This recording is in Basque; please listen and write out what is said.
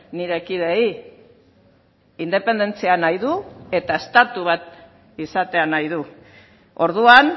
nire kideei independentzia nahi du eta estatu bat izatea nahi du orduan